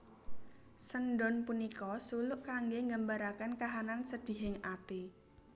Sendhon punika suluk kangge nggambaraken kahanan sedihing ati